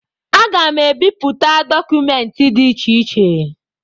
Aga m ebipụta dọkụmentị dị iche iche